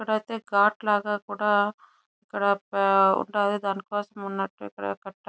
ఇక్కడైతే గాట్ లాగా కూడా ఇక్కడ కూడా ఉంటుంది. దానికోసం ఇక్కడ ఉన్నట్టు --